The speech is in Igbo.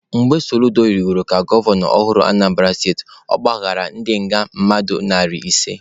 Mgbe Soludo rigoro ka gọvanọ ọhụrụ Anambara steti, ọ gbaghara ndị nga mmadụ narị ise.